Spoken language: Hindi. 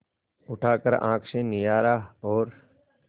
उठाकर आँख से निहारा और